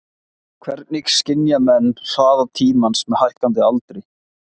Hvernig skynja menn hraða tímans með hækkandi aldri?